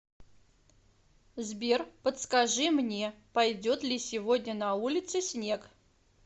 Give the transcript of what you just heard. сбер подскажи мне пойдет ли сегодня на улице снег